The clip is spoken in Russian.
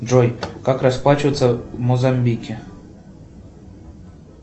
джой как расплачиваться в мозамбике